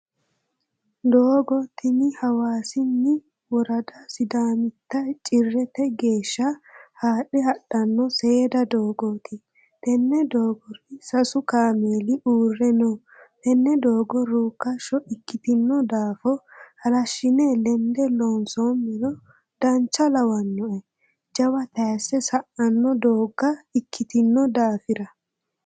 Doogo tini hawaasinni worada sidaamitta cirrete geeshsha haadhe hadhano seeda doogoti tene doogors sasu kaameeli uurre no, tene doogo rukkasho ikkitino daafo halashine lende loonsomero dancha lawanoe jawa tayise sa"ano doogo ikkitino daafira.